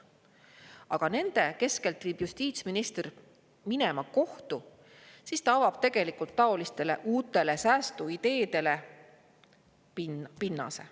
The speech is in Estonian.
Aga kui nende keskelt viib justiitsminister minema kohtu, siis ta avab tegelikult pinnase taolistele uutele säästuideedele.